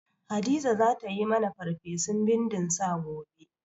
Hadiza za ta yi mani farfesun bindin sa gobe.